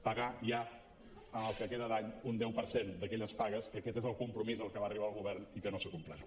pagar ja en el que queda d’any un deu per cent d’aquelles pagues que aquest és el compromís a què va arribar el govern i que no s’ha complert